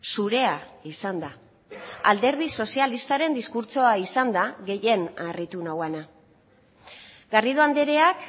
zurea izan da alderdi sozialistaren diskurtsoa izan da gehien harritu nauena garrido andreak